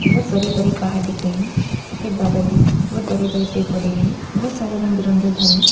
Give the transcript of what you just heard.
बहुत बड़े बड़े पहाड़ दिख रहे हैं सफ़ेद बादल हैं बहुत बड़े बड़े पेड़ पौधे हैं बहुत सारे रंग बिरंगे घर हैं।